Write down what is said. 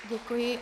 Děkuji.